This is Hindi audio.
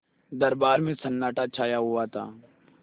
दरबार में सन्नाटा छाया हुआ था